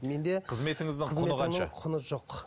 менде қызметіңіздің құны қанша құны жоқ